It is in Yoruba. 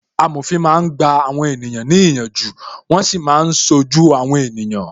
Amòfin máa ń gba àwọn ènìyàn ní ìyànjú, wọn sì máa ń ṣojú àwọn ènìyàn